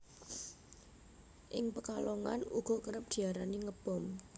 Ing Pekalongan uga kerep diarani Ngebom